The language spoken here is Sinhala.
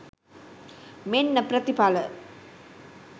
මෙන්න ප්‍රතිඵල